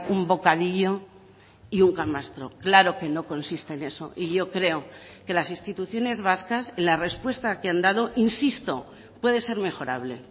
un bocadillo y un camastro claro que no consiste en eso y yo creo que las instituciones vascas la respuesta que han dado insisto puede ser mejorable